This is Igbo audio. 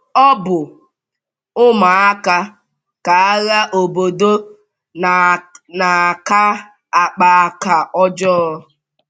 Ọ bụ ụmụaka ka agha obodo na - aka akpa aka ọjọọ.